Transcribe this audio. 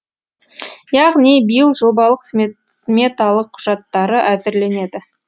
яғни биыл жобалық сметалық құжаттары әзірленеді